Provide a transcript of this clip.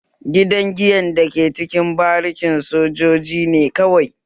Gidan giyan da ke cikin bariki na sojoji ne kawai